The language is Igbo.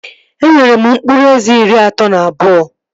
E nwere m mkpụrụ eze iri atọ na abụọ